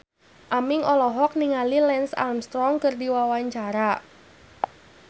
Aming olohok ningali Lance Armstrong keur diwawancara